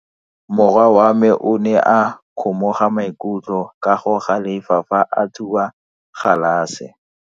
Morwa wa me o ne a kgomoga maikutlo ka go galefa fa a thuba galase.